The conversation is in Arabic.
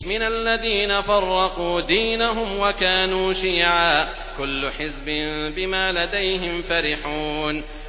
مِنَ الَّذِينَ فَرَّقُوا دِينَهُمْ وَكَانُوا شِيَعًا ۖ كُلُّ حِزْبٍ بِمَا لَدَيْهِمْ فَرِحُونَ